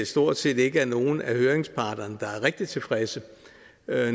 stort set ikke er nogen af høringsparterne der er rigtig tilfredse